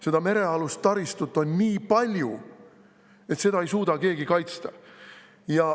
Seda merealust taristut on nii palju, et seda ei suuda keegi kaitsta.